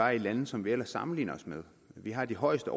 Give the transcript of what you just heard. er i lande som vi ellers sammenligner os med vi har de højeste